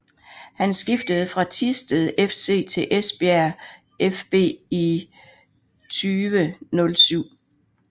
Han skiftede fra Thisted FC til Esbjerg fB i 2007